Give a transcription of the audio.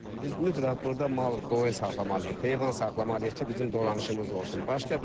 Biz mütləq burda mal qoyun saxlamalıyıq, heyvan saxlamalıyıq ki, bizim dolanışımız olsun.